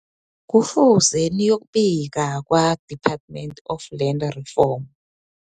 Kufuze niyokubika kwa-Department of Land Reform.